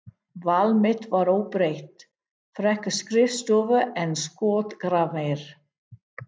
Val mitt var óbreytt, frekar skrifstofu en skotgrafir.